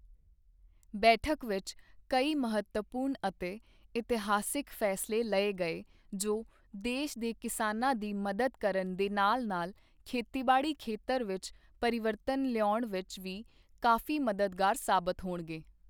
ਬੈਠਕ ਵਿੱਚ ਕਈ ਮਹੱਤਵਪੂਰਨ ਅਤੇ ਇਤਿਹਾਸਿਕ ਫ਼ੈਸਲੇ ਲਏ ਗਏ ਜੋ ਦੇਸ਼ ਦੇ ਕਿਸਾਨਾਂ ਦੀ ਮਦਦ ਕਰਨ ਦੇ ਨਾਲ ਨਾਲ ਖੇਤੀਬਾੜੀ ਖੇਤਰ ਵਿੱਚ ਪਰਿਵਰਤਨ ਲਿਆਉਣ ਵਿੱਚ ਵੀ ਕਾਫ਼ੀ ਮਦਦਗਾਰ ਸਾਬਤ ਹੋਣਗੇ।